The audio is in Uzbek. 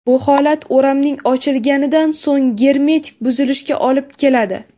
Bu holat o‘ramning ochilgandan so‘ng germetik buzilishiga olib keladi.